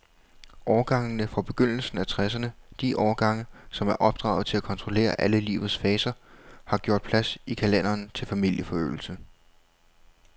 Årgangene fra begyndelsen af tresserne, de årgange, som er opdraget til at kontrollere alle livets faser, har gjort plads i kalenderen til familieforøgelse.